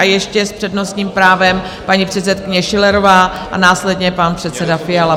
A ještě s přednostním právem paní předsedkyně Schillerová a následně pan předseda Fiala.